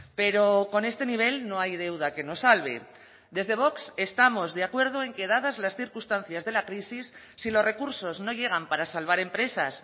pero con este nivel no hay deuda que nos salve desde vox estamos de acuerdo en que dadas las circunstancias de la crisis si los recursos no llegan para salvar empresas